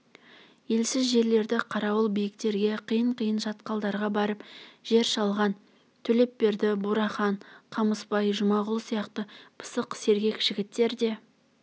елсіз жерлердегі қарауыл биіктерге қиын-қиын шатқалдарға барып жер шалған төлепберді бурахан қамысбай жұмағұл сияқты пысық сергек жігіттер де